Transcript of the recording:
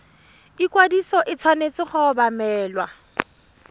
ikwadiso e tshwanetse go obamelwa